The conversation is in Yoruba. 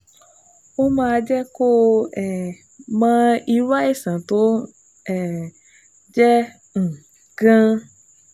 Ó máa jẹ́ kó o um mọ irú àìsàn tó um jẹ́ um gan-an